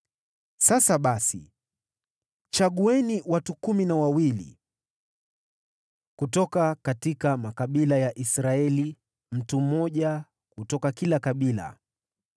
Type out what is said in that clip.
Sasa basi, chagueni watu kumi na wawili kutoka makabila ya Israeli, mtu mmoja kutoka kila kabila.